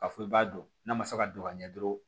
Ka fɔ i b'a dɔn n'a ma se ka don ka ɲɛ dɔrɔn